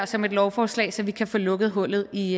som et lovforslag så vi kan få lukket hullet i